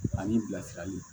Ani bilasiraliw